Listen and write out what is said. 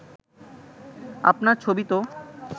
আপনার ছবি তো